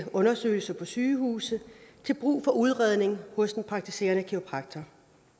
undersøgelser på sygehuse til brug for udredning hos en praktiserende kiropraktor